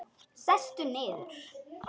Sestu niður.